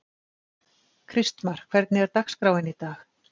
Kristmar, hvernig er dagskráin í dag?